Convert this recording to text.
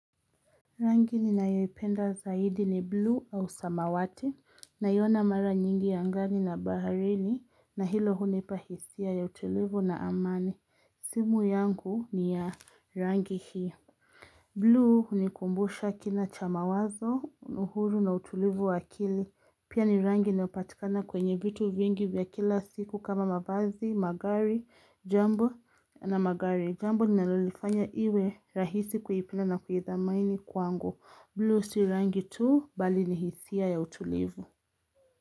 Rangi ninayoipenda zaidi ni buluu au samawati naiona mara nyingi angani na baharini na hilo hunipa hisia ya utilivu na amani simu yangu ni ya rangi hii Blue hunikumbusha kina cha mawazo uhuru na utilivu wa akili Pia ni rangi inayopatikana kwenye vitu vingi vya kila siku kama mavazi, magari, jambo na magari. Jambo linalolifanya iwe rahisi kuipendaa na kuhithamini kwangu. Blue si rangi tu bali ni hisia ya utulivu.